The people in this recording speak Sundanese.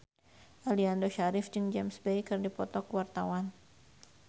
Aliando Syarif jeung James Bay keur dipoto ku wartawan